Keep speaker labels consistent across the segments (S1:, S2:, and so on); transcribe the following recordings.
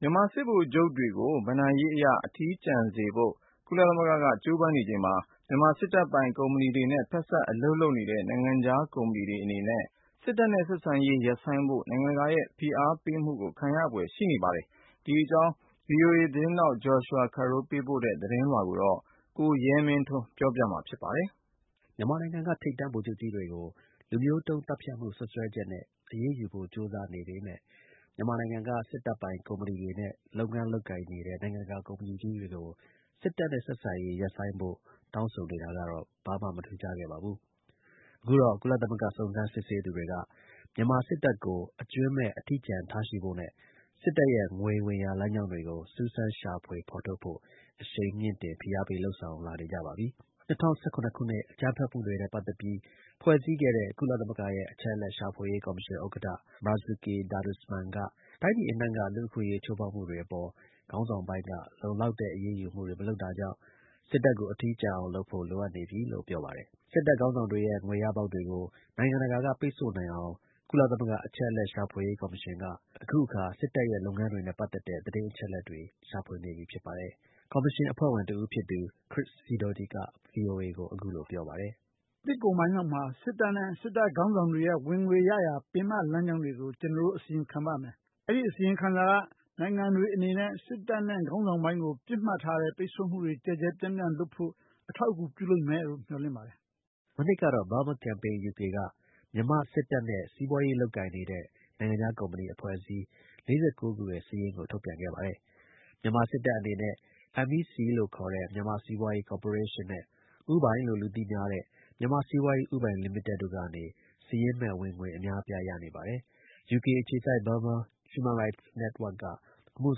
S1: မြန်မာဗိုလ်ချုပ်တွေကို ဘဏ္ဍာရေးအရ အထီးကျန်စေဖို့ ကုလသမဂ္ဂက ကြိုးပမ်းနေချိန်မှာ မြန်မာစစ်တပ်ပိုင် ကုမ္ပဏီတွေနဲ့ ဖက်စပ် အလုပ်လုပ်နေတဲ့ နိုင်ငံခြား ကုမ္ပဏီတွေအနေနဲ့ စစ်တပ်နဲ့ ဆက်ဆံရေး ရပ်ဆိုင်းဖို့ နိုင်ငံတကာရဲ့ ဖိအားပေးမှုကို ခံရပါတော့မယ်။ ဒီ အကြောင်း ဗွီအိုအေ သတင်းထောက် Joshua Carroll ပေးပို့ထားတဲ့ သတင်းလွှာကို ကိုရဲမင်းထွန်းက တင်ပြပေးထားပါတယ်။ မြန်မာနိုင်ငံက ထိပ်တန်း ဗိုလ်ချုပ်ကြီးတွေကို လူမျိုးတုန်းသတ်ဖြတ်မှု စွပ်စွဲချက်နဲ့ အရေးယူဖို့ ကြိုးစားနေပေမဲ့ မြန်မာနိုင်ငံက စစ်တပ်ပိုင် ကုမ္ပဏီတွေနဲ့ လုပ်ငန်းလုပ်နေတဲ့ နိုင်ငံတကာ ကုမ္ပဏီကြီးတွေကို စစ်တပ်နဲ့ ဆက်ဆံရေး ရပ်ဆိုင်းဖို့ တောင်းဆိုနေတာ ဘာမှ မထူးခြားခဲ့ပါဘူး။ အခုတော့ ကုလသမဂ္ဂ စုံစမ်းစစ်ဆေးသူတွေက မြန်မာစစ်တပ်ကို အကြွင်းမဲ့ အထီးကျန်ထားရှိဖို့နဲ့ စစ်တပ်ရဲ့ ငွေဝင်ရာ လမ်းကြောင်းတွေကို စူးစမ်းရှာဖွေဖို့ အရှိန်မြှင့်တင် ဖိအားပေး လာနေကြပါပြီ။ ၂၀၁၇ ခုနှစ် အကြမ်းဖက်တွေမှုနဲ့ပတ်သက်ပြီး ဖွဲ့စည်းခဲ့တဲ့ ကုလသမဂ္ဂရဲ့ အချက်အလက် ရှာဖွေရေးကော်မရှင် ဥက္ကဋ္ဌ Marzuki Darusman က တိုင်းပြည်အနှံ့က လူ့အခွင့်အရေး ချိုးဖောက်မှုတွေအပေါ် ခေါင်းဆောင်ပိုင်းက လုံလောက်တဲ့ အရေးယူမှုတွေ မလုပ်တာကြောင့် စစ်တပ်ကို အထီးကျန် အောင် လုပ်ဖို့ လိုအပ်နေပြီလို့ ပြောပါတယ်။ စစ်တပ်ခေါင်းဆောင်တွေရဲ့ ငွေရပေါက်တွေကို နိုင်ငံတကာက ပိတ်ဆို့နိုင်အောင် ကုလ အချက်အလက် ရှာဖွေရေး ကော်မရှင်က အခုအခါ စစ်တပ်ရဲ့လုပ်ငန်းတွေနဲ့ပတ်သက်တဲ့ သတင်းအချက်အလက် တွေ ရှာဖွေနေပြီ ဖြစ်ပါတယ်။ ကော်မရှင် အဖွဲ့ဝင်တဦးဖြစ်သူ Chris Sidoti က VOA ကို အခုလို ပြောပါတယ်။
S2: “နှစ်ကုန်ပိုင်းလောက်မှာ စစ်တပ်နဲ့ စစ်တပ်ခေါင်းဆောင်တွေရဲ့ ဝင်ငွေရရာ ပင်မ လမ်းကြောင်းတွေကို ကျနော်တို့ အစီရင်ခံပါမယ်။ ဒီ အစီရင်ခံစာက နိုင်ငံတွေအနေနဲ့ စစ်တပ်နဲ့ ခေါင်းဆောင်ပိုင်းကို ပစ်မှတ်ထားတဲ့ ပိတ်ဆို့မှုတွေ ကျယ်ကျယ်ပြန့်ပြန့် လုပ်ဖို့ အထောက်အကူ ပြုလိမ့်မယ်လို့ မျှော်လင့်ပါတယ်
S1: ။” မနှစ်ကတော့ Burma Campaign UK က မြန်မာ့ စစ်တပ်နဲ့ စီးပွားရေးလုပ်ကိုင်နေတဲ့ နိုင်ငံခြား ကုမ္ပဏီ အဖွဲ့အစည်း ၄၉ ခု စာရင်းကို ထုတ်ပြန်ခဲ့ ပါတယ်။ မြန်မာစစ်တပ် အနေနဲ့MEC လို့ခေါ်တဲ့မြန်မာ့စီးပွားရေးကော်ပိုရေးရှင်းနဲ့ ဦးပိုင်လို့ လူသိများတဲ့ မြန်မာ့ စီးပွားရေးဦးပိုင် လိမိတက် တို့ကနေ စာရင်းမဲ့ ဝင်ငွေ အများအပြား ရနေပါတယ်။ ယူကေ အခြေစိုက် Burma Human Rights Network က အမှု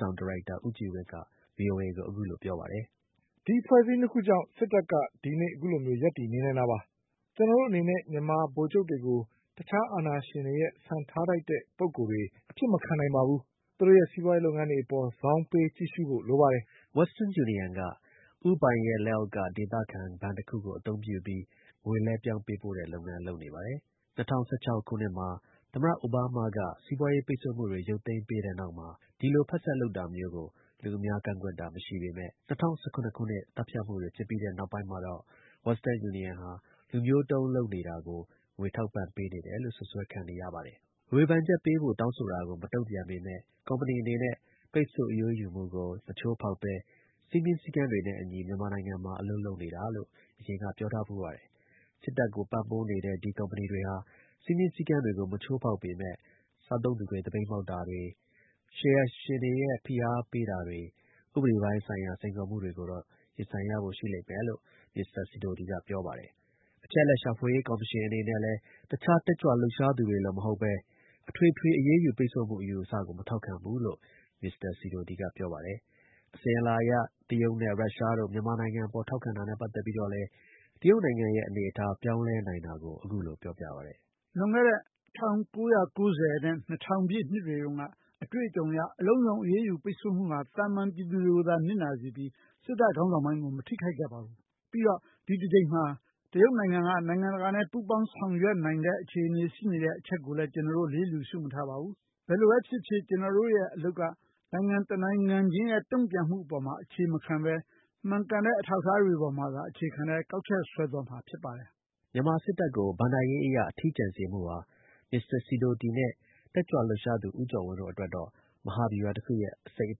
S1: ဆောင် ဒါရိုက်တာ ဦးကြည်ဝင်း က ဗွီအိုအေကို အခုလို ပြောပါတယ်။ “ဒီ အဖွဲ့အစည်း၂ ခုကြောင့် စစ်တပ်က ဒီနေ့ အခုလို ရပ်တည်နေနိုင်တာပါ။ ကျနော်တို့ အနေနဲ့ မြန်မာ ဗိုလ်ချုပ်တွေကို တခြား အာဏာရှင် တွေရဲ့ စံထားထိုက်တဲ့ ပုဂ္ဂိုလ်တွေ အဖြစ် မခံနိုင်ပါဘူး။ သူတို့ရဲ့စီးပွားရေးလုပ်ငန်းတွေအပေါ် ဇောင်းပေး ကြည့်ရှုဖို့ လိုပါတယ်။” Western Union က ဦးပိုင်ရဲ့ လက်အောက်က ဒေသခံ ဘဏ်တစ်ခုကို အသုံးပြုပြီး ငွေလွှဲပြောင်းပေးပို့တဲ့ လုပ်ငန်း လုပ်နေပါတယ်။ ၂၀၁၆ ခုနှစ်မှာ သမ္မတ အိုဘားမားက စီပွားရေး ပိတ်ဆို့မှုတွေ ရုပ်သိမ်းပေးပြီးတဲ့နောက်မှာ ဒီလို ဖက်စပ် လုပ်တာမျိုးကို လူအများ ကန့်ကွက်တာ မရှိပေမဲ့ ၂၀၁၇ ခုနှစ် သတ်ဖြတ်မှုတွေ ဖြစ်ပြီးတဲ့ နောက်ပိုင်း မှာတော့ Western Union ဟာ လူမျိုးတုန်းလုပ်နေတာကို ငွေထောက်ပံ့ပေး နေတယ်လို့ စွပ်စွဲခံရပါတယ်။ ဝေဖန်ချက်ပေးဖို့ တောင်းဆိုတာကို မတုန့်ပြန်ပေမဲ့ ကုမ္ပဏီအနေနဲ့ ပိတ်ဆို့ အရေးယူမှုကို မချိုးဖောက်ဘဲ စည်းမျဉ်းစည်းကမ်း တွေနဲ့ အညီ မြန်မာနိုင်ငံမှာ အလုပ်လုပ်ကိုင်နေတာလို့ အရင်က ပြောထားဖူးပါတယ်။ စစ်တပ်ကို ပံ့ပိုးနေတဲ့ ဒီ ကုမ္ပဏီတွေ ဟာ စည်းမျဉ်းစည်းကမ်းတွေကို မချိုးဖောက်ပေမဲ့ စားသုံးသူတွေ သပိတ် မှောက်တာတို့၊ ရှယ်ယာရှင်တွေရဲ့ ဖိအားတို့၊ ဥပဒေဆိုင်ရာ စိန်ခေါ် မှုတွေ ကိုတော့ ရင်ဆိုင်ရဖို့ ရှိလိမ့်မယ်လို့ Mr. Sidoti က ပြောပါတယ်။ အချက်အလက် ရှာဖွေရေး ကော်မရှင်အနေနဲ့ လည်း တခြား တက်ကြွ လှုုပ်ရှားသူတွေလို မဟုတ်ဘဲ အထွေထွေ အရေးယူ ပိတ်ဆို့မှု အယူအဆကို မထောက်ခံဘူးလို့ Mr. Sidoti က ပြောပါ တယ်။ အစဉ်အလာအရ တရုတ်နဲ့ ရုရှားတို့ မြန်မာနိင်ငံအပေါ် ထောက်ခံတာနဲ့ ပတ်သက်ပြီး တော့လည်း တရုတ်နိုင်ငံရဲ့ အနေအထား ပြောင်းလဲနိုင်တာကို အခုလို ပြောပါ
S2: တယ်။ “လွန်ခဲ့တဲ့ ၁၉၉၀ နဲ့ ၂၀၀၀ ပြည့်နှစ်တွေတုန်းက အတွေ့အကြုံအရ အလုံးစုံ အရေးယူ ပိတ်ဆို့မှုဟာ သာမန် ပြည်သူတွေကိုသာ နစ်နာစေ ခဲ့ပြီး စစ်တပ် ခေါင်းဆောင်ပိုင်းကို မထိခိုက်ခဲ့ပါဘူး။ ပြီးတော့ ဒီ တBကိမ်မှာ တရုတ်နိုင်ငံက နိုင်ငံတကာနဲ့ ပူးပေါင်း ဆောင်ရွက် နိုင်ခြေရှိတဲ့ အချက်ကိုလည်း ကျနော်တို့ လစ်လျှူ ရှု မထားပါဘူး။ ဘယ်လိုပဲ ဖြစ်ဖြစ် ကျနော်တို့ရဲ့အလုပ်က နိုင်ငံတနိုင်ငံချင်းရဲ့ တုံ့ပြန်မှုပေါ်မှာ အခြေမခံဘဲ မှန်ကန်တဲ့ အထောက်အထားတွေပေါ်မှာသာ အခြေခံတဲ့ ကောက်ချက်ဆွဲသွားမှာ ဖြစ်ပါတယ်
S1: ။” မြန်မာ စစ်တပ်ကို ဘဏ္ဍရေးအရ အထီးကျန်စေမှုဟာ Mr. Sidoti နဲ့ တက်ကြွလှုပ်ရှားသူ ဦးကျော်ဝင်းတို့အတွက်တော့ မဟာဗျူဟာတစ်ခုရဲ့ အစိတ်အ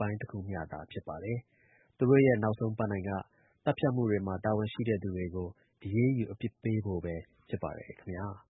S1: ပိုင်း တခုမျှသာ ဖြစ်ပါတယ်။ သူတို့ရဲ့ နောက်ဆုံးပန်းတိုင်က သတ်ဖြတ်မှုတွေမှာ တာဝန်ရှိတဲ့သူတွေကို အရေးယူ အပြစ်ပေးဖို့ပဲ ဖြစ်ပါတယ် ခင်ဗျား။